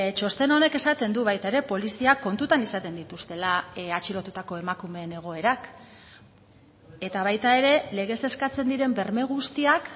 txosten honek esaten du baita ere poliziak kontutan izaten dituztela atxilotutako emakumeen egoerak eta baita ere legez eskatzen diren berme guztiak